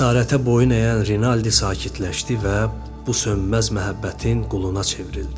Əsarətə boyun əyən Rinaldi sakitləşdi və bu sönməz məhəbbətin quluna çevrildi.